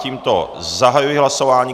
Tímto zahajuji hlasování.